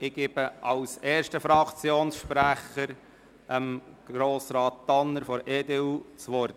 Ich gebe zuerst dem Fraktionssprecher der EDU, Grossrat Tanner, das Wort.